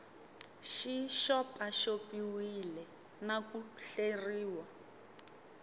xi xopaxopiwile na ku hleriwa